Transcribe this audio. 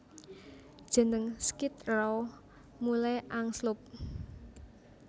Jeneng Skid Row mulai angslup